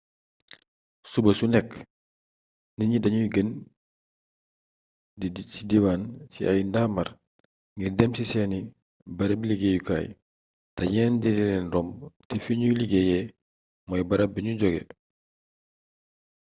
suba su nekk nit ñi dañuy génn ci diwaan ci ay ndaamaar ngir dem ci seeni barabi liggéeyukaay te ñeneen ñi di leen romb te fiñuy liggéeyee mooy barab biñu jogé